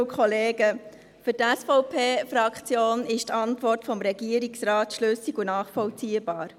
Für die SVP-Fraktion ist die Antwort des Regierungsrates schlüssig und nachvollziehbar.